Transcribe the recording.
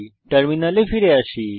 টার্মিনালে ফিরে আসি